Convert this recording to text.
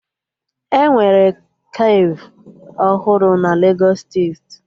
Enwere kafe ọhụrụ na Legos steeti